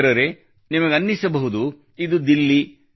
ಮಿತ್ರರೇ ನಿಮಗನಿಸಬಹುದು ಇದು ದಿಲ್ಲಿ